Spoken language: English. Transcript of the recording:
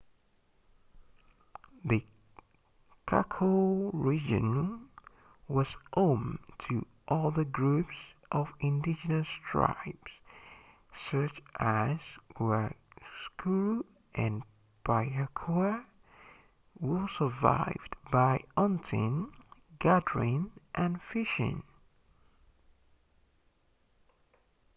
the chaco region was home to other groups of indigenous tribes such as the guaycurú and payaguá who survived by hunting gathering and fishing